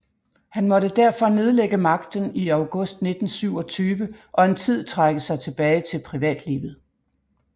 Han måtte derfor nedlægge magten i august 1927 og en tid trække sig tilbage til privatlivet